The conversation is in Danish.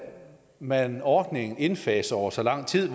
man ordningen indfase over så lang tid